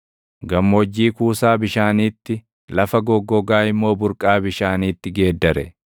Gammoojjii kuusaa bishaaniitti, lafa goggogaa immoo burqaa bishaaniitti geeddare;